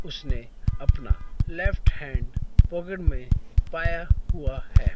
उसने अपना left hand pocket में पाया हुआ है।